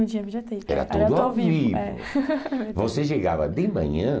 Não tinha videotape, era tudo ao vivo. Era tudo ao vivo. É. Você chegava de manhã